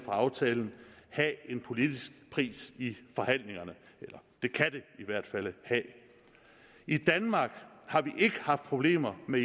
aftalen have en politisk pris i forhandlingerne eller det kan det i hvert fald have i danmark har vi ikke haft problemer med